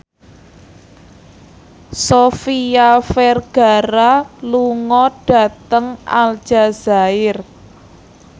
Sofia Vergara lunga dhateng Aljazair